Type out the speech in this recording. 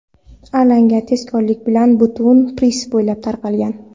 Alanga tezkorlik bilan butun pirs bo‘ylab tarqalgan.